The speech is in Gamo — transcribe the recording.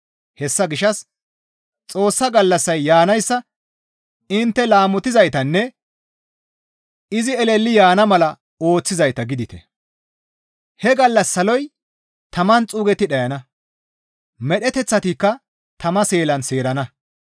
Hessa gishshas Xoossa gallassay yaanayssa intte laamotizaytanne izi eleli yaana mala ooththizayta gidite. He gallas saloy taman xuugetti dhayana; medheteththatikka tama seelan seerana.